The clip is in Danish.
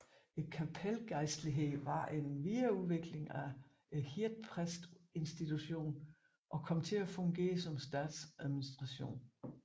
Kapelgejstligheden var en videreudvikling af hirdpræstinstitutionen og kom til at fungere som statsadministration